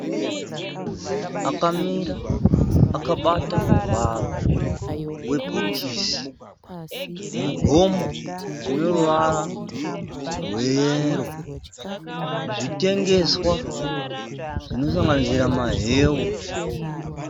Munhukadzi akamira akabata muvharo webhokisi. Mugomo une ruvara rweyero. Zvitengeswa zvinosanganisira maheu.